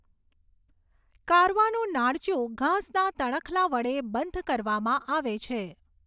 કારવાનું નાળચું ઘાસના તણખલા વડે બંધ કરવામાં આવે છે.